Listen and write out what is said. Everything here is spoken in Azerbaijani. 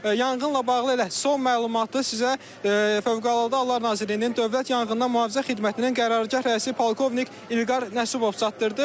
Yanğınla bağlı elə son məlumatı sizə Fövqəladə Hallar Nazirliyinin Dövlət Yanğından Mühafizə Xidmətinin qərargah rəisi polkovnik İlqar Nəsibov çatdırdı.